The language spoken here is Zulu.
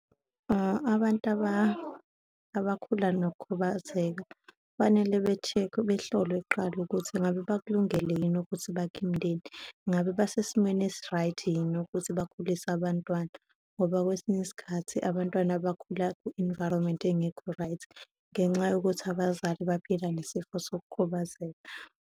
Abantu abakhula nokukhubazeka kufanele be-check-we, behlolwe kuqala ukuthi ngabe bakulungele yini ukuthi bakhe imindeni, ngabe basesimweni esi-right yini ukuthi bakhulise abantwana, ngoba kwesinye isikhathi abantwana bakhula ku-environment engekho-right ngenxa yokuthi abazali baphila nesifo sokukhubazeka.